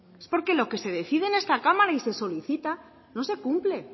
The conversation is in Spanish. es porque lo que se decide en esta cámara y lo que se solicita no se cumple